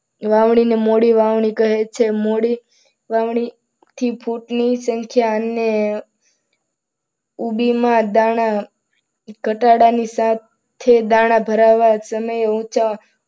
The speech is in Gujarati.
વાવણીને મોડી વાવણી કહે છે. વાવણી થી ફૂટનું સંખ્યા અને માં દાણા ની સાથે ઘટાડાની સાથે દાણા ભરાવા સમયે ઊંચા